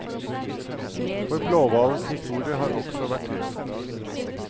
For blåhvalens historie har også vært trist.